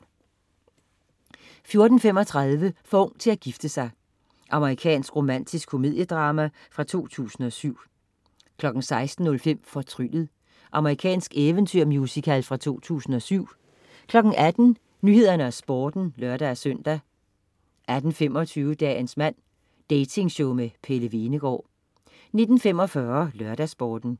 14.35 For ung til at gifte sig. Amerikansk romantisk komediedrama fra 2007 16.05 Fortryllet. Amerikansk eventyrmusical fra 2007 18.00 Nyhederne og Sporten (lør-søn) 18.25 Dagens mand. Dating-show med Pelle Hvenegaard 19.45 LørdagsSporten